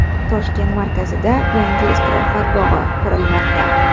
Toshkent markazida yangi istirohat bog‘i qurilmoqda.